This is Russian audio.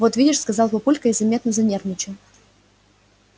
вот видишь сказал папулька и заметно занервничал